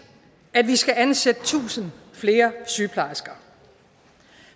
at vi skal ansætte tusind flere sygeplejersker